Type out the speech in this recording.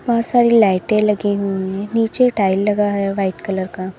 बहुत सारी लाइटे लगी हुई हैं नीचे टाइल लगा है वाइट कलर का।